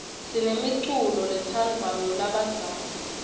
sinemiculo letsandvwa ngulabadzala